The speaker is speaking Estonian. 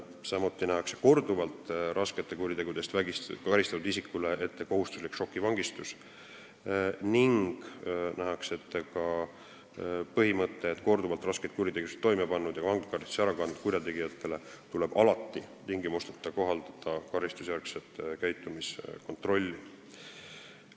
Samuti nähakse korduvalt raskete kuritegude eest karistatud isikule ette kohustuslik šokivangistus ning nähakse ette ka põhimõte, et korduvalt raskeid kuritegusid toime pannud ja vanglakaristuse ära kandnud kurjategijale tuleb alati tingimusteta kohaldada karistusjärgselt käitumiskontrolli.